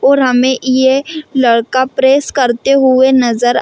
और हमें ये लड़का प्रेस करते हुए नज़र--